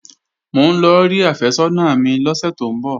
Mò ń lọ rí àfẹ́sọ́nà mi lọ́sẹ̀ tó ń bọ̀